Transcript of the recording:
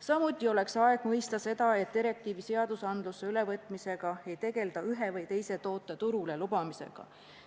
Samuti oleks aeg mõista seda, et direktiivi meie õigusse ülevõtmise puhul ei tegelda ühe või teise toote turule lubamisega.